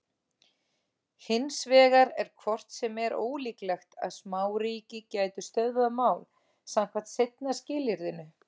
Hins vegar er hvort sem er ólíklegt að smáríki gætu stöðvað mál samkvæmt seinna skilyrðinu.